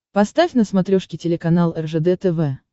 поставь на смотрешке телеканал ржд тв